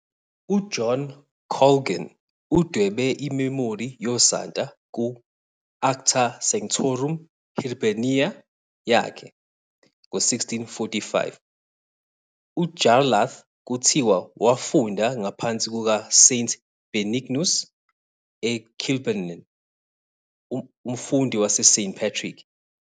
UJohn Colgan udwebe imemori yosanta ku- "Acta Sanctorum Hiberniae yakhe" ngo- 1645. UJarlath kuthiwa wafunda ngaphansi kukaSt Benignus eKilbennen, umfundi waseSt Patrick.